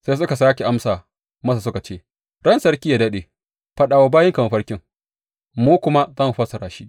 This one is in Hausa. Sai suka sāke amsa masa suka ce, Ran sarki yă daɗe, faɗa wa bayinka mafarkin, mu kuma za mu fassara shi.